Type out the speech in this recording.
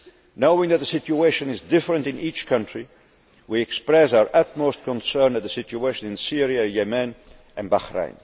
Knowing that the situation is different in each country, we express our utmost concern at the situation in Syria, Yemen and Bahrain.